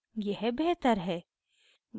यह बेहतर है